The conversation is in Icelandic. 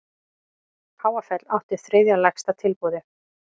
Háfell átti þriðja lægsta tilboðið